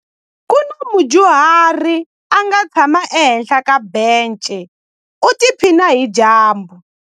Ku na mudyuhari a nga tshama ehenhla ka bence u tiphina hi dyambu.